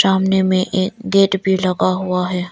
सामने में एक गेट भी लगा हुआ है।